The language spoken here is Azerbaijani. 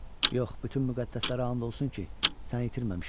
Yox, bütün müqəddəslərə and olsun ki, səni itirməmişəm.